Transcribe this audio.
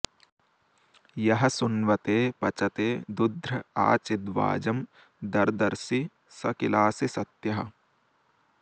यः सु॑न्व॒ते पच॑ते दु॒ध्र आ चि॒द्वाजं॒ दर्द॑र्षि॒ स किला॑सि स॒त्यः